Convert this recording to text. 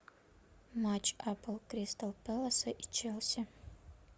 матч апл кристал пэласа и челси